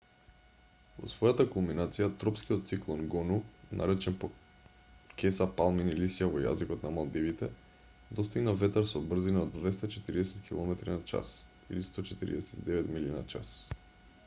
во својата кулминација тропскиот циклон гону наречен по кеса палмини лисја во јазикот на малдивите достигна ветар со брзина од 240 километри на час 149 милји на час